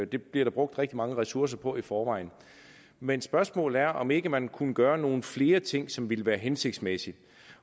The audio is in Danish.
det bliver der brugt rigtig mange ressourcer på i forvejen men spørgsmålet er om ikke man kunne gøre nogle flere ting som ville være hensigtsmæssige